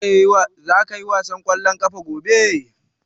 Za ka ƴi wasan kwallon ƙafa gobe?